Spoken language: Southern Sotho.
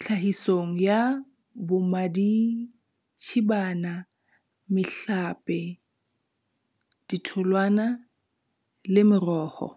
tlhahisong ya bommaditshibana, mehlape, ditholwana le meroho.